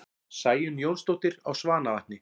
Sæunn Jónsdóttir á Svanavatni